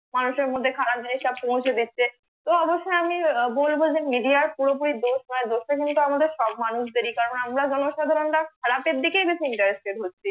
মানুষের মধ্যে খারাপ জিনিসটা পৌঁছে দিচ্ছে তো অবশ্যই আমি বলবো যে media পুরোপুরি দোষ নয় দোষটা কিন্তু আমাদের সৎ মানুষদের ইকারণ আমরা জনসাধারনরা খারাপের দিকে বেশি interested হচ্ছি